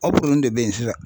Aw de bɛ ye sisan.